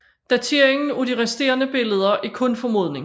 Dateringen af de resterende billeder er kun formodning